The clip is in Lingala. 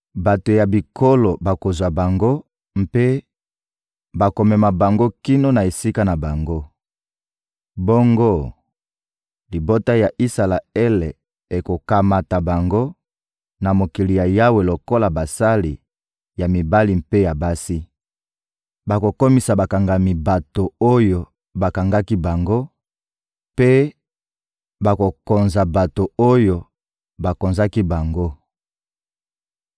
Bato ya bikolo bakozwa bango mpe bakomema bango kino na esika na bango. Bongo, libota ya Isalaele ekokamata bango na mokili ya Yawe lokola basali ya mibali mpe ya basi. Bakokomisa bakangami bato oyo bakangaki bango mpe bakokonza bato oyo bakonzaki bango.